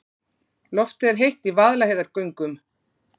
Loftið er heitt í Vaðlaheiðargöngum.